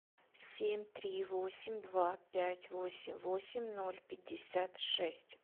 семь три восемь два пять восемь восемь ноль пятьдесят шесть